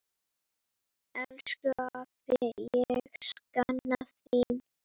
Elsku afi, ég sakna þín.